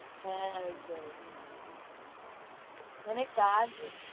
হ্যাঁ, ওইটাই মানে কাজ